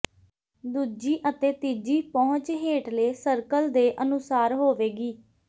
ਦੂਜੀ ਅਤੇ ਤੀਜੀ ਪਹੁੰਚ ਹੇਠਲੇ ਸਰਕਲ ਦੇ ਅਨੁਸਾਰ ਹੋਵੇਗੀ